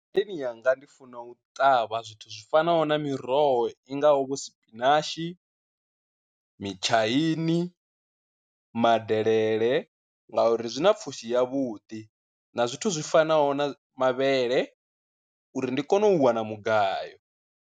Ngadeni yanga ndi funa u ṱavha zwithu zwi fanaho na miroho i ngaho vho spinach, mitshaini, madelele, nga uri zwi na pfhushi ya vhuḓi na zwithu zwi fanaho na mavhele uri ndi kone u wana mugayo.